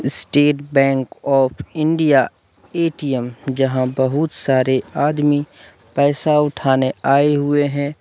State bank of India ATM यहां पर बहुत सारे आदमी पैसा उठाने आए हुए हैं।